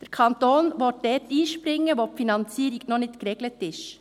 Der Kanton will dort einspringen, wo die Finanzierung noch nicht geregelt ist.